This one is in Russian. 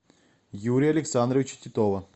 юрия александровича титова